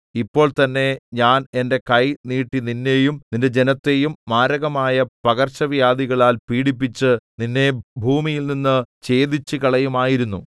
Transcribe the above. ഇപ്പോൾ തന്നേ ഞാൻ എന്റെ കൈ നീട്ടി നിന്നെയും നിന്റെ ജനത്തെയും മാരകമായ പകർച്ചവ്യാധികളാൽ പീഡിപ്പിച്ച് നിന്നെ ഭൂമിയിൽനിന്ന് ഛേദിച്ചുകളയുമായിരുന്നു